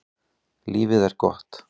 Lífið er gott.